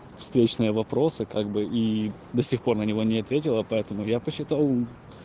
встречный вопросы как бы и до сих пор на него не ответила поэтому я посчитал